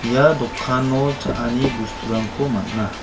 ia dokano cha·ani bosturangko man·a.